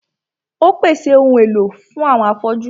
Ó pèsè àwọn ohun èlò fún àwọn afọ́jú.